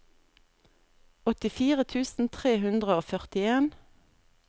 åttifire tusen tre hundre og førtien